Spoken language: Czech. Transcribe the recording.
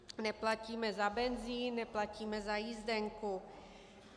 Neplatíme za benzin, neplatíme za jízdenku.